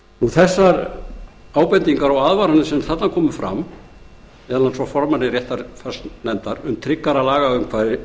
þær ábendingar og aðvaranir sem þarna komu frá formanni réttarfarsnefndar um tryggara lagaumhverfi